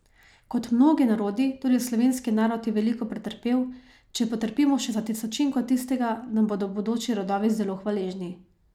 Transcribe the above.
Kot mnogi narodi, tudi slovenski narod je veliko pretrpel, če potrpimo še za tisočinko tistega, nam bodo bodoči rodovi zelo hvaležni.